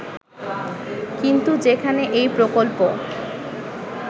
কিন্তু যেখানে এই প্রকল্প